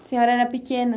A senhora era pequena?